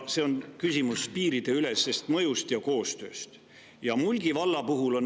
See on küsimus piiriülesest mõjust ja koostööst.